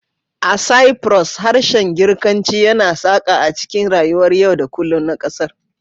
A Cyprus, harshen Girkanci yana saƙa a cikin rayuwar yau da kullum na ƙasar